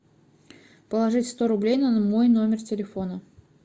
положить сто рублей на мой номер телефона